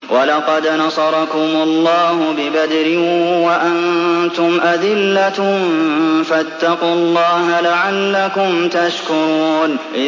وَلَقَدْ نَصَرَكُمُ اللَّهُ بِبَدْرٍ وَأَنتُمْ أَذِلَّةٌ ۖ فَاتَّقُوا اللَّهَ لَعَلَّكُمْ تَشْكُرُونَ